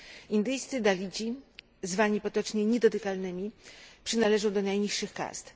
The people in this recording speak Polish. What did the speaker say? Indyjscy dalici, zwani potocznie niedotykalnymi, przynależą do najniższych kast.